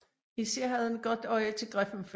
Især havde han et godt øje til Griffenfeld